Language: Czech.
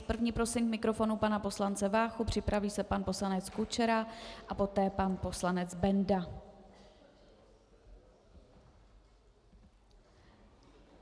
S první prosím k mikrofonu pana poslance Váchu, připraví se pan poslanec Kučera a poté pan poslanec Benda.